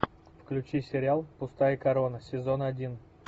включи сериал пустая корона сезон один